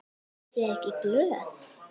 Ertu ekki glöð?